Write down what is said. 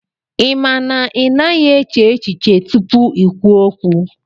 Ị ma na ị naghị eche echiche tupu i kwuo okwu